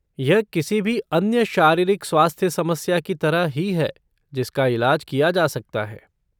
यह किसी भी अन्य शारीरिक स्वास्थ्य समस्या की तरह ही है जिसका इलाज किया जा सकता है।